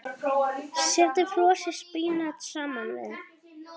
Setjið frosið spínat saman við.